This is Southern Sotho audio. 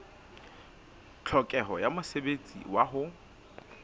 tlhokeho ya mosebetsi wa ho